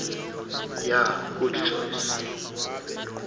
yha good choices